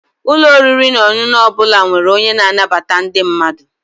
Ụlọ oriri na ọṅụṅụ ọ bụla nwere onye na-anabata ndị mmadụ.